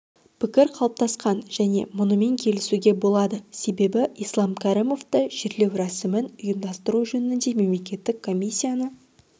пікір қалыптасқан және мұнымен келісуге болады себебі ислам кәрімовті жерлеу рәсімін ұйымдастыру жөніндегі мемлекеттік комиссияны